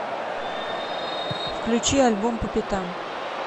включи альбом по пятам